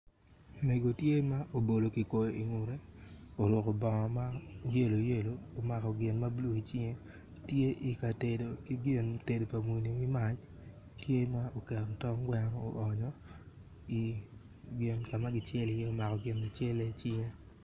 mego tye ma obolo ki koi oruku bongo mayelo yelo omako gin ma bulu i cinge tye i ka tedo ki gin tedo pa muni ki mac tye oketo tong gweno o onyo i gin ka ma ki celi omako gin lacele i cinge